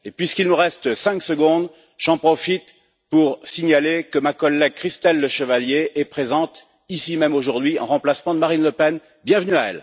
Puisqu'il me reste cinq secondes, j'en profite pour signaler que ma collègue, Christelle Lechevalier, est présente ici même, aujourd'hui, en remplacement de Marine Le Pen, et lui souhaiter la bienvenue.